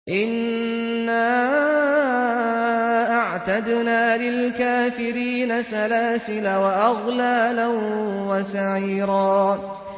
إِنَّا أَعْتَدْنَا لِلْكَافِرِينَ سَلَاسِلَ وَأَغْلَالًا وَسَعِيرًا